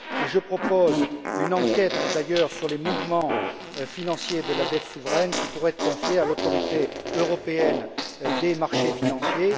Je propose d'ailleurs une enquête sur les mouvements financiers de la dette souveraine, qui pourrait être confiée à l'Autorité européenne des marchés financiers.